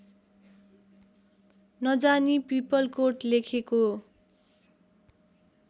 नजानी पिपलकोट लेखेको